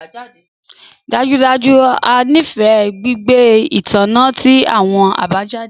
Dájúdájú! A nifẹ gbigbe itanna ti awọn abajade